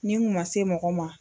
Ni n kun ma se mɔgɔ ma.